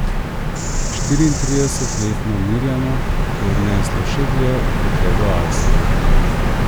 Štiriintridesetletno Mirjano je odneslo še dlje kot le do Avstrije.